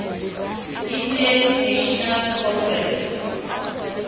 indian national congress